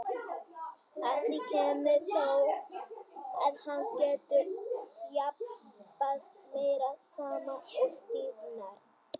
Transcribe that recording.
Að því kemur þó, að hann getur ekki þjappast meira saman og stífnar.